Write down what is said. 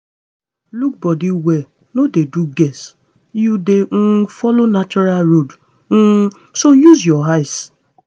look body well no dey do guess. you dey um follow natural road um so use your eye